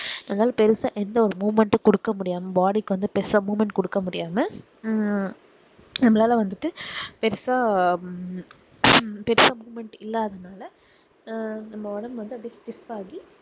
இருந்தாலும் பெருசா எந்த ஒரு moment ம் குடுக்க முடியாம body க்கு வந்துட்டு பெருசா moment குடுக்க முடியாம ஹம் நம்மளால வந்துட்டு பெருசா உம் பெருசா moment இல்லாதனால ஆஹ் நம்ம ஒடம்பு வந்து stif ஆகி